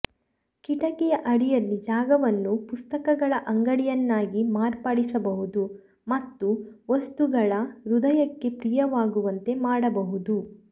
ಕಿಟಕಿಯ ಅಡಿಯಲ್ಲಿ ಜಾಗವನ್ನು ಪುಸ್ತಕಗಳ ಅಂಗಡಿಯನ್ನಾಗಿ ಮಾರ್ಪಡಿಸಬಹುದು ಮತ್ತು ವಸ್ತುಗಳ ಹೃದಯಕ್ಕೆ ಪ್ರಿಯವಾಗುವಂತೆ ಮಾಡಬಹುದು